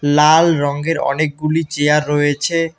লাল রঙ্গের অনেকগুলি চেয়ার রয়েছে।